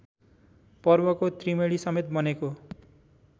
पर्वको त्रिवेणीसमेत बनेको